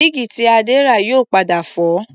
Dígí tí Adé rà yóò padà fọ́